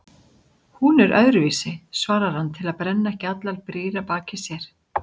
Hún er öðruvísi, svarar hann til að brenna ekki allar brýr að baki sér.